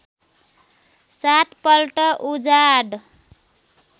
सात पल्ट उजाड